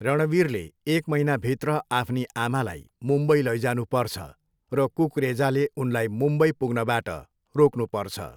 रणवीरले एक महिनाभित्र आफ्नो आमालाई मुम्बई लैजानुपर्छ र कुकरेजाले उनलाई मुम्बई पुग्नबाट रोक्नुपर्छ।